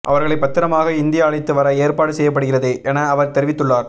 அவர்களை பத்திரமாக இந்தியா அழைத்து வர ஏற்பாடு செய்யப்படுகிறது என அவர் தெரிவித்துள்ளார்